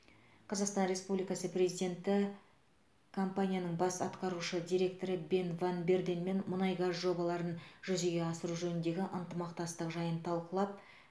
қазақстан республикасы президенті компанияның бас атқарушы директоры бен ван барденмен мұнай газ жобаларын жүзеге асыру жөніндегі ынтымақтастық жайын талқылап